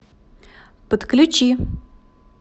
подключи